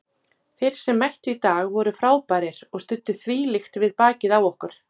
Þeir sem mættu í dag voru frábærir og studdu þvílíkt við bakið á okkur.